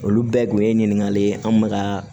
Olu bɛɛ kun ye ɲininkali ye anw bɛ ka